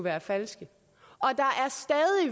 er falske